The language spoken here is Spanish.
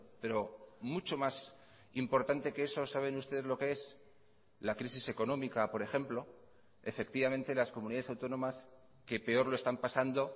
pero mucho más importante que eso saben ustedes lo que es la crisis económica por ejemplo efectivamente las comunidades autónomas que peor lo están pasando